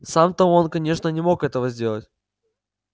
сам то он конечно не мог этого сделать